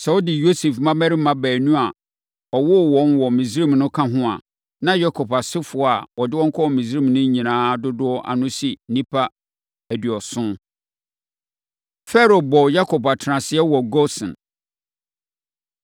Sɛ wɔde Yosef mmammarima baanu a ɔwoo wɔn wɔ Misraim no ka ho a, na Yakob asefoɔ a ɔde wɔn kɔɔ Misraim no nyinaa dodoɔ ano si nnipa aduɔson. Farao Bɔ Yakob Atenaseɛ Wɔ Gosen